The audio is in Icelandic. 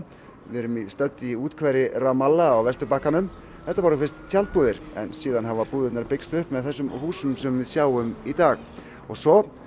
við erum stödd í úthverfi Ramallah á Vesturbakkanum þetta voru fyrst tjaldbúðir en síðan þá hafa búðirnar byggst upp með þessum húsum sem við sjáum í dag og svo